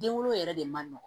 Den wolo yɛrɛ de man nɔgɔn